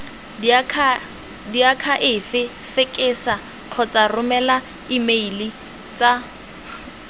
diakhaefe fekesa kgotsa romela emeilatsa